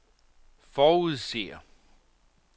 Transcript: forudser